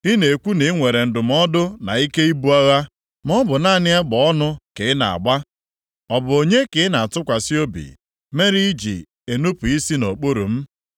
Ị na-ekwu na i nwere ndụmọdụ na ike ibu agha, maọbụ naanị egbe ọnụ ka ị na-agba. Ọ bụ onye ka ị na-atụkwasị obi, mere i ji enupu isi nʼokpuru m?